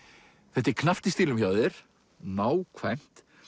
þetta er knappt í stílnum hjá þér nákvæmt